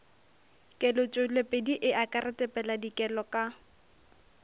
kelotpweledi e akaretpa dikelo ka